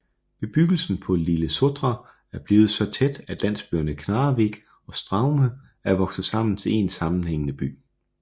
Bebyggelsen på Litlesotra er blevet så tæt at landsbyerne Knarrevik og Straume er vokset sammen til en sammenhængende by